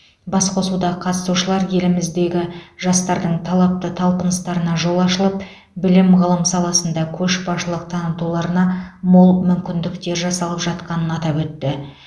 басқосуда қатысушылар елімізде жастардың талапты талпыныстарына жол ашылып білім ғылым саласында көшбасшылық танытуларына мол мүмкіндіктер жасалып жатқанын атап өтті